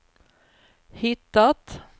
hittat